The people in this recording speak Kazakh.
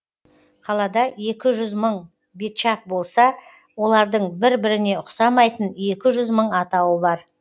қалада екі жүз мың бечак болса олардың бір біріне ұқсамайтын екі жүз мың атауы бар